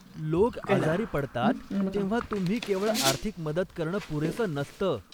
लोक आजारी पडतात तेव्हा तुम्ही केवळ आर्थिक मदत करणं पुरेसं नसतं.